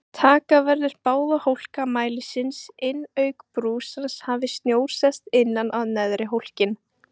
Taka verður báða hólka mælisins inn auk brúsans hafi snjór sest innan á neðri hólkinn.